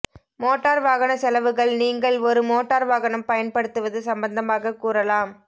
motor வாகன செலவுகள் நீங்கள் ஒரு மோட்டார் வாகனம் பயன்படுத்துவது சம்பந்தமாக கூறலாம்